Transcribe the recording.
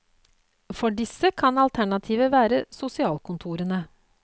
For disse kan alternativet være sosialkontorene.